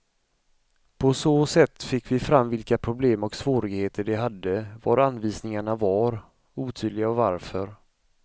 På så sätt fick vi fram vilka problem och svårigheter de hade, var anvisningarna var otydliga och varför.